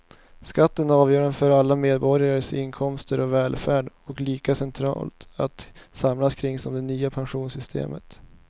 Skatten är avgörande för alla medborgares inkomster och välfärd och lika centralt att samlas kring som det nya pensionssystemet.